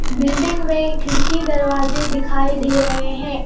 Building में खिड़की दरवाजे दिखाई दे रहे हैं ।